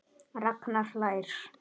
Ragnar hlær.